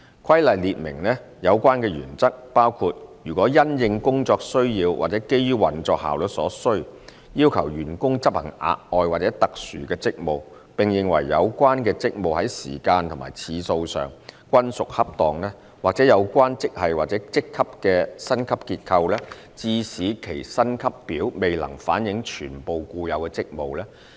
《規例》列明的有關原則，包括如因應工作需要或基於運作效率所需，要求員工執行額外或特殊職務，並認為有關職務在時間和次數上均屬恰當；或有關職系或職級的薪級結構致使其薪級表未能反映全部固有職務。